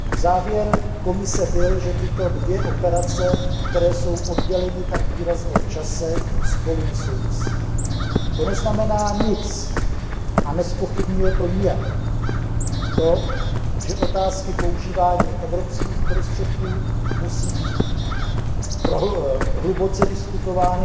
Závěr Komise byl, že tyto dvě operace, které jsou odděleny tak výrazně v čase, spolu nesouvisí. To však nic neznamená a nijak to nezpochybňuje skutečnost, že otázky používání evropských prostředků musí být znovu a znovu hluboce diskutovány